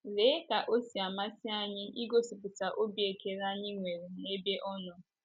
Lee ka o si amasị anyị igosipụta obi ekele anyị nwere n’ebe Ọ nọ!